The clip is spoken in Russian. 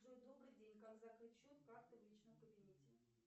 джой добрый день как закрыть счет карты в личном кабинете